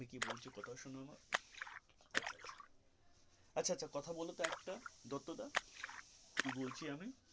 আমি কি বলছি কথা শোনো আমার আচ্ছা আচ্ছা আচ্ছা আচ্ছা কথা বলতো একটা দত্তদা কি বলছি আমি,